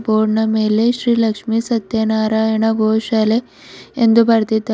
ಬೋರ್ಡ ನ ಮೇಲೆ ಶ್ರೀ ಲಕ್ಷ್ಮಿ ಸತ್ಯನಾರಾಯಣ ಗೋಶಾಲೆ ಎಂದು ಬರದಿದ್ದಾರೆ.